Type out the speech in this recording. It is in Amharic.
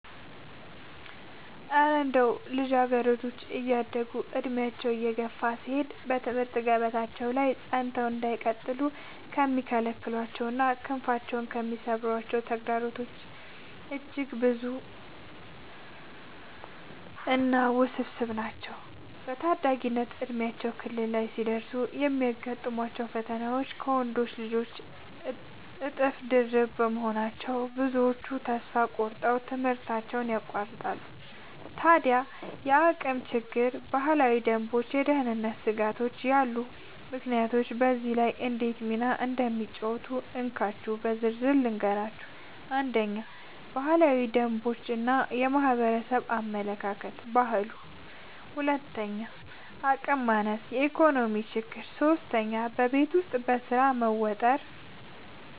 እረ እንደው ልጃገረዶች እያደጉና ዕድሜያቸው እየገፋ ሲሄድ በትምህርት ገበታቸው ላይ ጸንተው እንዳይቀጥሉ የሚከለክሏቸውና ክንፋቸውን የሚሰብሯቸው ተግዳሮቶችማ እጅግ ብዙና ውስብስብ ናቸው! በታዳጊነት የእድሜ ክልል ላይ ሲደርሱ የሚገጥሟቸው ፈተናዎች ከወንዶች ልጆች እጥፍ ድርብ በመሆናቸው፣ ብዙዎቹ ተስፋ ቆርጠው ትምህርታቸውን ያቋርጣሉ። ታዲያ እንደ የአቅም ችግር፣ ባህላዊ ደንቦችና የደህንነት ስጋቶች ያሉ ምክንያቶች በዚህ ላይ እንዴት ሚና እንደሚጫወቱ እንካችሁ በዝርዝር ልንገራችሁ፦ 1. ባህላዊ ደንቦች እና የማህበረሰብ አመለካከት (ባህሉ) 2. የአቅም ማነስ እና የኢኮኖሚ ችግር 3. በቤት ውስጥ ስራ መወጠር መወጠር